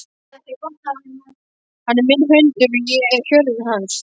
Hann er minn hundur og ég er hjörðin hans.